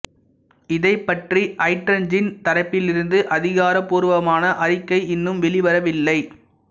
இதைப் பற்றி ஹட்ஜன்சின் தரப்பிலிருந்து அதிகார பூர்வமான அறிக்கை இன்னும் வெளி வரவில்லை